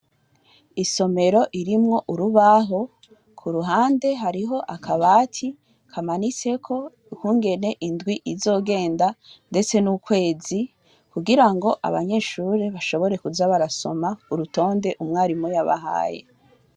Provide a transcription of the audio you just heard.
Isomero irimwo urubaho kuruhande hariho akabati kamanitseko ukungene indwi izogenda ndetse n’ukwezi, kugira ngo abanyeshure bashobore kuza barasoma urutonde umwarimu yabahaye.